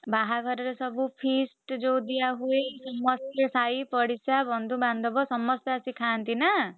ବାହାଘରରେ ସବୁ feast ଯୋଉ ଦିଆହୁଏ ସମସ୍ତେ ସାହି ପଡିଶା ଯୋଉଁ ବନ୍ଧୁବାନ୍ଧବ ସମସ୍ତେ ଆସି ଖାଆନ୍ତି ନା?